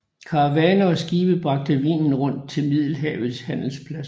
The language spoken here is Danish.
Karavaner og skibe bragte vinen rundt til Middelhavets handelspladser